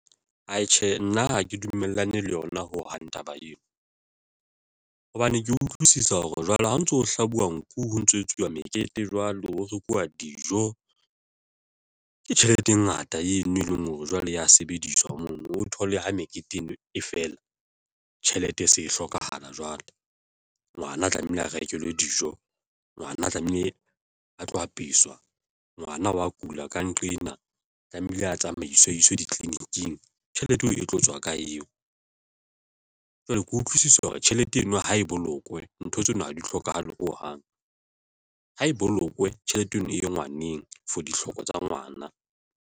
Atjhe nna ha ke dumellane le yona ho hang taba eo, hobane ke utlwisisa hore jwale ha o ntso hlabuwe nku ho ntso ho etsuwa mekete jwalo. Ho rekuwa dijo ke tjhelete e ngata eno e leng hore jwale ya sebediswa mono o thole ha mekete eno, e feela tjhelete e se e hlokahala. Jwale ngwana a tlamehile a rekelwe dijo, ngwana tlamehile a tlo apeswa ngwana wa kula ka nqena tlamehile a tsamaiswe ditleliniking. Tjhelete eo e tlo tswa ka eo jwale ha ke utlwisisi hore tjhelete eno ha e bolokwe, ntho tseno ha di hlokahale hohang ha e bolokwe tjhelete eno e ye ngwaneng for ditlhoko tsa ngwana.